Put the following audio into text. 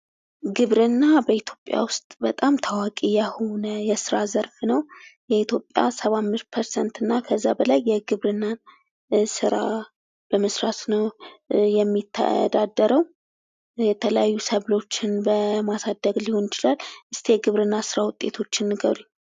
ግብርና በኢትዮጵያ ውስጥ በጣም ታዋቂ የሆነ የስራ ዘርፍ ነው ። የኢትዮጵያ ሰባ አምስት ፐርሰንትና ከዛ በላይ የግብርና ስራ በመስራት ነው የሚተዳደሩው የተለያዩ ሰብሎችን በማሳደግ ሊሆን ይችላል ። እስኪ የግብርና ስራ ውጤቶችን ንገሩኝ ?